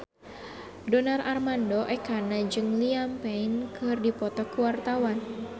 Donar Armando Ekana jeung Liam Payne keur dipoto ku wartawan